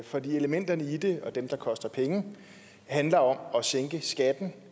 for elementerne i det og dem der koster penge handler om at sænke skatten